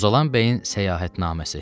Mozalan Bəyin Səyahətnaməsi.